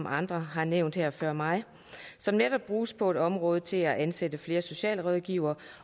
andre har nævnt her før mig som netop bruges på dette område til at ansætte flere socialrådgivere